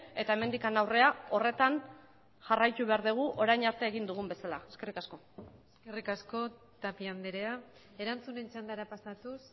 eta hemendik aurrera horretan jarraitu behar dugu orain arte egin dugun bezala eskerri kasko eskerrik asko tapia andrea erantzunen txandara pasatuz